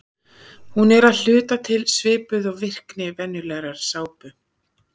Hún er að hluta til svipuð og virkni venjulegrar sápu.